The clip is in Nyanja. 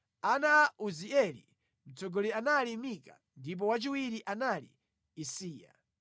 Ana a Uzieli: Mtsogoleri anali Mika ndipo wachiwiri anali Isiya.